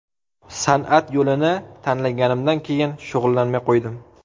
San’at yo‘lini tanlaganimdan keyin shug‘ullanmay qo‘ydim.